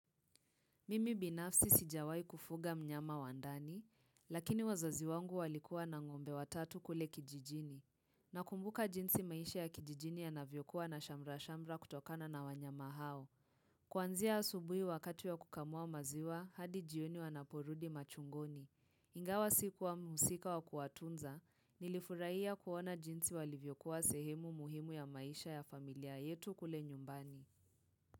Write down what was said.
Mimi binafsi sijawahi kufuga mnyama wa ndani, lakini wazazi wangu walikuwa na ng'ombe watatu kule kijijini. Nakumbuka jinsi maisha ya kijijini yanavyokuwa na shamrashamra kutokana na wanyama hao. Kuanzia asubuhi wakati ya kukamua maziwa, hadi jioni wanaporudi machungoni. Ingawa sikuwa mhusika wa kuwatunza, nilifurahia kuona jinsi walivyokuwa sehemu muhimu ya maisha ya familia yetu kule nyumbani.